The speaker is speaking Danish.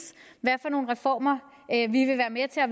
hvad for nogle reformer vi vil være med til og